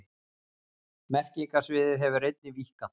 Merkingarsviðið hefur einnig víkkað.